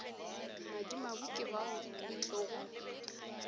madimabe ke bao e tlogo